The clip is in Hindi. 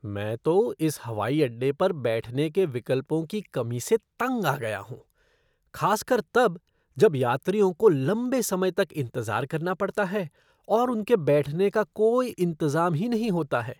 मैं तो इस हवाई अड्डे पर बैठने के विकल्पों की कमी से तंग आ गया हूँ, खासकर तब जब यात्रियों को लम्बे समय तक इंतज़ार करना पड़ता है और उनके बैठने का कोई इंतज़ाम ही नहीं होता है।